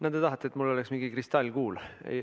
No te tahate, et mul oleks mingi kristallkuul.